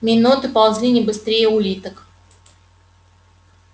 минуты ползли не быстрее улиток